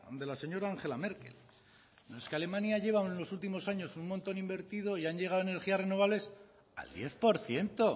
de la señora angela merkel es que alemania lleva en los últimos años un montón invertido y han llegado a energía renovables al diez por ciento